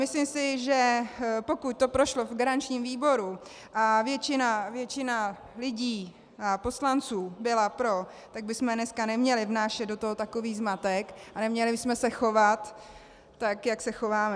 Myslím si, že pokud to prošlo v garančním výboru a většina lidí a poslanců byla pro, tak bychom dneska neměli vnášet do toho takový zmatek a neměli bychom se chovat tak, jak se chováme.